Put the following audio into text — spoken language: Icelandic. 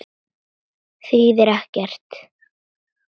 Þýðir ekkert.